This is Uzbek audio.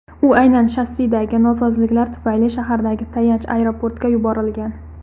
U aynan shassidagi nosozliklar tufayli shahardagi tayanch aeroportga yuborilgan.